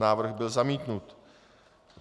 Návrh byl zamítnut.